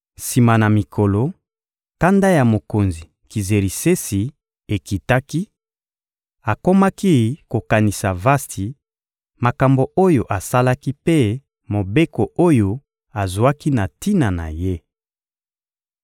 Sima na mikolo, kanda ya mokonzi Kizerisesi ekitaki; akomaki kokanisa Vasti, makambo oyo asalaki mpe mobeko oyo azwaki na tina na ye.